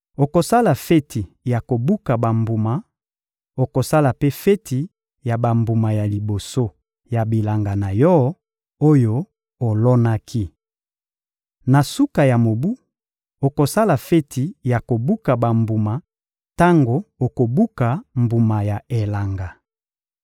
Okosala feti ya kobuka bambuma, okosala mpe feti ya bambuma ya liboso ya bilanga na yo, oyo olonaki. Na suka ya mobu, okosala feti ya kobuka bambuma tango okobuka mbuma ya elanga.